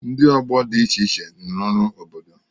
Ndị ọgbọ dị iche iche rụrụ ọrụ obodo.